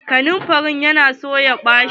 Kanamfari ɗin ya na son ya ɓache.